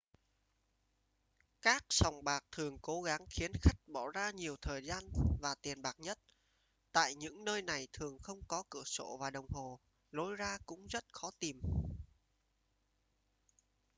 các sòng bạc thường cố gắng khiến khách bỏ ra nhiều thời gian và tiền bạc nhất tại những nơi này thường không có cửa sổ và đồng hồ lối ra cũng rất khó tìm